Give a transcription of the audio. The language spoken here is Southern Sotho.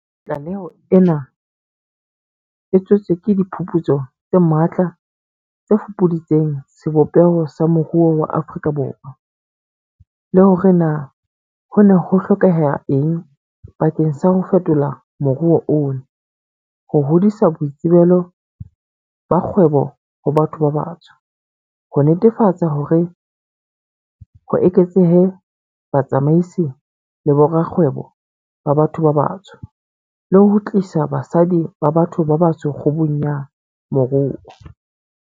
Tlaleho ena e tswetswe ke diphuputso tse matla tse fupuditseng sebopeho sa moruo wa Afrika Borwa, le hore na ho ne ho hlokeha eng bakeng sa ho fetola moruo ona, ho hodisa boitsebelo ba kgwebo ho batho ba batsho, ho netefatsa hore ho eketsehe batsamaisi le borakgwebo ba batho ba batsho, le ho tlisa basadi ba batho ba batsho kgubung ya moruo.